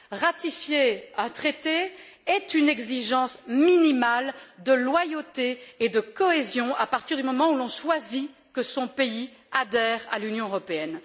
Ratifier un traité est une exigence minimale de loyauté et de cohésion à partir du moment où l'on choisit que son pays adhère à l'Union européenne.